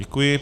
Děkuji.